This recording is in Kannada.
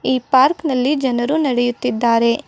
ಈ ಪಾರ್ಕ್ ನಲ್ಲಿ ಜನರು ನಡೆಯುತ್ತಿದ್ದಾರೆ.